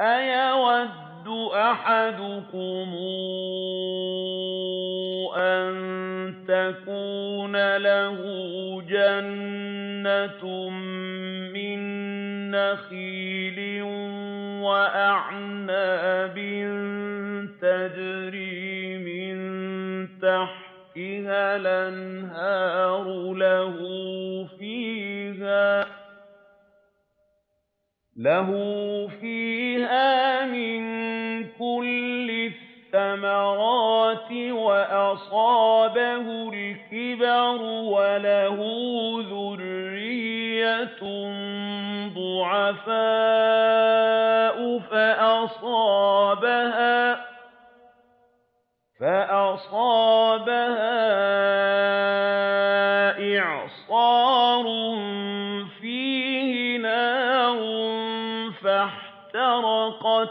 أَيَوَدُّ أَحَدُكُمْ أَن تَكُونَ لَهُ جَنَّةٌ مِّن نَّخِيلٍ وَأَعْنَابٍ تَجْرِي مِن تَحْتِهَا الْأَنْهَارُ لَهُ فِيهَا مِن كُلِّ الثَّمَرَاتِ وَأَصَابَهُ الْكِبَرُ وَلَهُ ذُرِّيَّةٌ ضُعَفَاءُ فَأَصَابَهَا إِعْصَارٌ فِيهِ نَارٌ فَاحْتَرَقَتْ ۗ